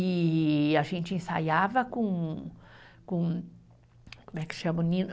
E a gente ensaiava com, com, como é que chama o nino?